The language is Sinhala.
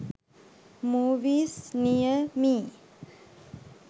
movies near me